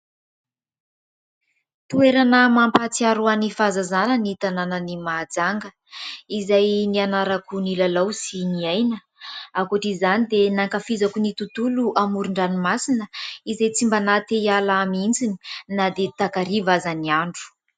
Toerana mampatsiaro ahy ny fahazazana ny tanànan'i Mahajanga, izay nianarako nilalao sy niaina ; ankoatr'izany dia nankafizako ny tontolo amoron-dranomasina izay tsy mba nahate hiala ahy mihitsy na dia takariva aza ny andro.